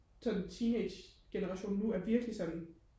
sådan teenagegenerationen nu er virkelig sådan